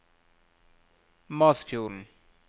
Masfjorden